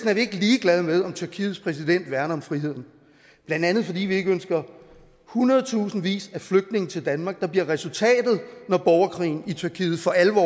er vi ikke ligeglade med om tyrkiets præsident værner om friheden blandt andet fordi vi ikke ønsker hundredtusindvis af flygtninge til danmark for det bliver resultatet når borgerkrigen i tyrkiet for alvor